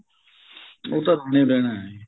ਉਹ ਤਾਂ ਰਹਿਣਾ ਰਹਿਣਾ ਏ ਜੀ